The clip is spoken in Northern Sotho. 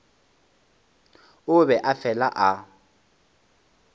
e be e le fela